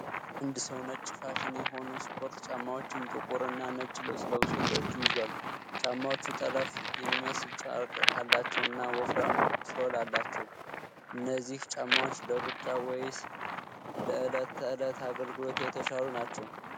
አንድ ሰው ነጭ፣ ፋሽን የሆኑ ስፖርት ጫማዎችን ጥቁር እና ነጭ ልብስ ለብሶ በእጁ ይዟል። ጫማዎቹ ጠለፈ የሚመስል ጨርቅ አላቸውና ወፍራም ሶል አላቸው። እነዚህ ጫማዎች ለሩጫ ወይም ለዕለት ተዕለት አገልግሎት የተሻሉ ናቸው?